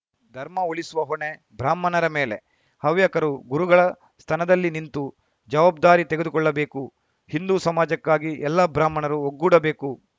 ಧರ್ಮ ಉಳಿಸುವ ಹೊಣೆ ಬ್ರಾಹ್ಮಣರ ಮೇಲೆ ಹವ್ಯಕರು ಗುರುಗಳ ಸ್ಥನದಲ್ಲಿ ನಿಂತು ಜವಾಬ್ದಾರಿ ತೆಗೆದುಕೊಳ್ಳಬೇಕು ಹಿಂದೂ ಸಮಾಜಕ್ಕಾಗಿ ಎಲ್ಲಾ ಬ್ರಾಹ್ಮಣರು ಒಗ್ಗೂಡಬೇಕು